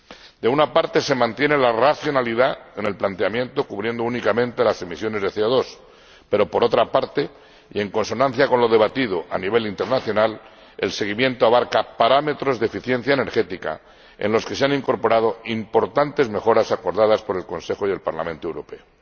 Por una parte, se mantiene la racionalidad en el planteamiento cubriendo únicamente las emisiones de CO2, pero, por otra parte y en consonancia con lo debatido a nivel internacional, el seguimiento abarca parámetros de eficiencia energética en los que se han incorporado importantes mejoras acordadas por el Consejo y el Parlamento Europeo.